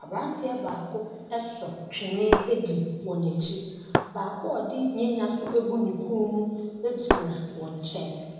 Aberanteɛ baako so twene di wɔn akyi. Baako a ɔde nyanya nso agu ne kɔn mu gyina wɔn nkyɛn.